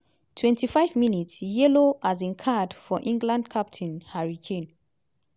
25 mins - yellow um card for england captain harry kane.